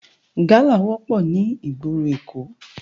Gàlá wòpò ni igbóró Ékó